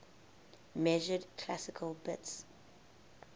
measured classical bits